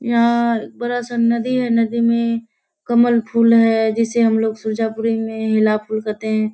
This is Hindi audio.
यहाँ बड़ा सा नदी है। नदी में कमल फूल है जिसे हम लोग सुजापूरी में हिला फूल कहते हैं।